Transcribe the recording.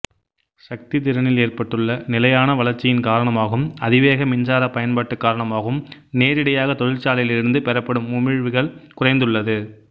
சக்தி திறனில் ஏற்பட்டுள்ள நிலையான வளர்ச்சியின் காரணமாகவும் அதிவேக மின்சாரப் பயன்பாடு காரணமாகவும் நேரிடையாக தொழிற்சாலையிலிருந்து பெறப்படும் உமிழ்வுகள் குறைந்துள்ளது